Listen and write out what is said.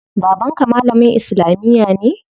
Baban ka malamin islamiya ne?